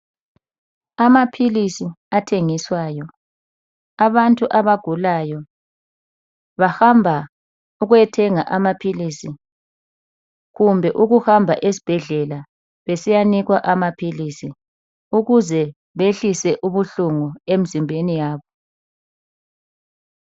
Amaphilisi athengiswayo. Abantu abagulayo bahamba ukuyethenga amaphilisi, kumbe ukuhamba esibhedlela besiyanikwa amaphilisi ukuze behlise ubuhlungu emizimbeni yabo.